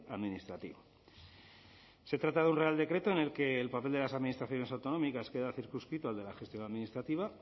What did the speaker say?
administrativo se trata de un real decreto en el que el papel de las administraciones autonómicas queda circunscrito al de la gestión administrativa